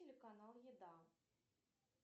телеканал еда